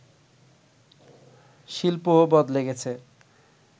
শিল্পও বদলে গেছে